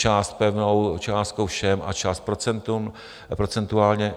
Část pevnou částkou všem a část procentuálně.